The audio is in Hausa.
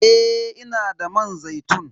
Eh, ina da man zaitun.